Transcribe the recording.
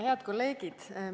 Head kolleegid!